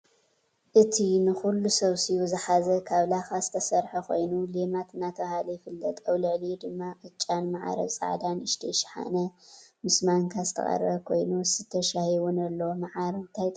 እቱይ ንኩሉ ሰብሲቡ ዝሓዘ ካብ ላካ ዝተሰረሐ ኮይኑ ሌማት እናተባህለ ይፍለጥ። ኣብ ልዕልኡ ድማ ቅጫን ምዓር ኣብ ፃዕዳ ንእሽተይ ሽሓነ ምስ ማንካ ዝተቀረበ ኮይኑ ዝስተ ሻሂ እውን ኣሎ። ምዓር እንታይ ጥቅሚ ኣለዎ?